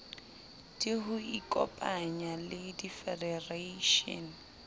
d ho ikopanya le difedereishene